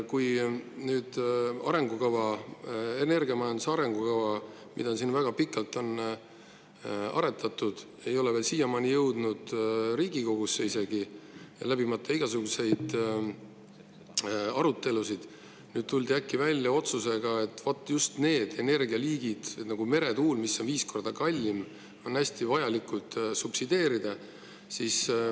Kuigi energiamajanduse arengukava, mida väga pikalt on aretatud, ei ole siiamaani jõudnud isegi mitte Riigikogusse ega läbinud igasuguseid arutelusid, tuldi nüüd äkki välja otsusega, et vot just mere, mis on viis korda kallimad, on vaja subsideerida.